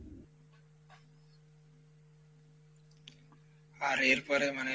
আর এরপরে মানে,